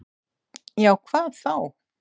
"""Já, hvað þá?"""